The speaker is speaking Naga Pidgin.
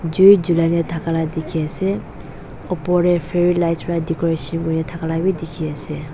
jui julai na thaka la dikhiase opor tae fairy lights pra decoration kurina thakala bidikhiase.